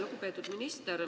Lugupeetud minister!